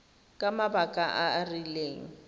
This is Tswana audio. ka mabaka a a rileng